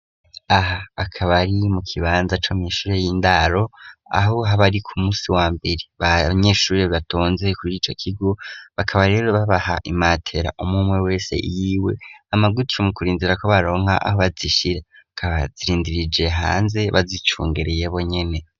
Aha akaba ari mu kibanza co mishure y'indaro aho habari ku musi wa mbere banyeshure batonze kuri ico kigo bakaba rero babaha imatera umumu we wese iyiwe amagutiye mu kurinzira ku baronka aho bazishira akabazirindirije hanze bazicungereyebo nyene.